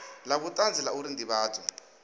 la vhutanzi la uri ndivhadzo